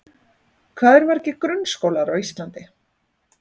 Hvað eru margir grunnskólar á Íslandi?